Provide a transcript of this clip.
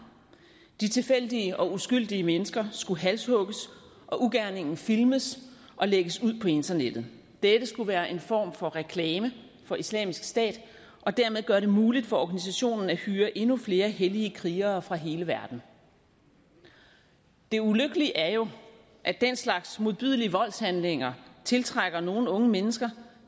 de tilfældige og uskyldige mennesker skulle halshugges og ugerningen filmes og lægges ud på internettet dette skulle være en form for reklame for islamisk stat og dermed gøre det muligt for organisationen at hyre endnu flere hellige krigere fra hele verden det ulykkelige er jo at den slags modbydelige voldshandlinger tiltrækker nogle unge mennesker